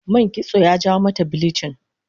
Man kitso ya jawo mata bilichin